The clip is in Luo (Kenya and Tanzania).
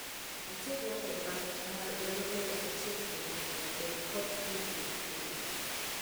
Achiedhnade mag paro nyalo miyo achiel kuom joot bed kod tungni gi jowetegi.